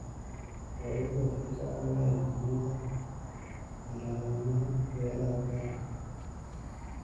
Xooluhu waxay caawiyaan xakamaynta haramaha beeraha beeraha.